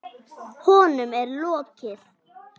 Honum er lokið!